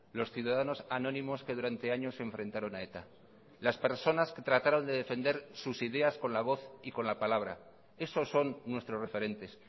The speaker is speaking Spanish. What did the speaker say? los ciudadanos anónimos que durante años se enfrentaron a eta las personas que trataron de defender sus ideas con la voz y con la palabra esos son nuestros referentes